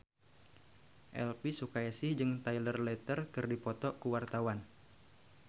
Elvi Sukaesih jeung Taylor Lautner keur dipoto ku wartawan